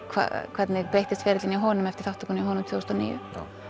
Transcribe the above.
hvernig breyttist ferillinn hjá honum eftir þátttökuna hjá honum tvö þúsund og níu